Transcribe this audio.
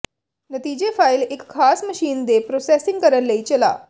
ਨਤੀਜੇ ਫਾਇਲ ਇੱਕ ਖਾਸ ਮਸ਼ੀਨ ਦੀ ਪ੍ਰੋਸੈਸਿੰਗ ਕਰਨ ਲਈ ਚਲਾ